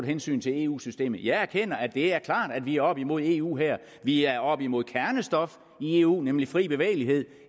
hensyn til eu systemet jeg erkender at det er klart at vi er oppe imod eu her vi er oppe imod kernestof i eu nemlig fri bevægelighed